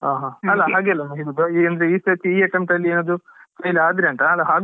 ಹಾ ಹಾ ಅಲ್ಲ ಹಾಗೆ ಅಲ್ಲ ಈ ಸರ್ತಿ ಈ attempt ಲ್ಲಿ ಏನಾದ್ರು fail ಆದ್ರಿ ಅಂತ .